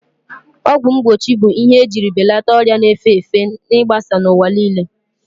Ọgwụ mgbochi bụ ihe ejiri belata ọrịa na-efe efe igbasa n'ụwa niile.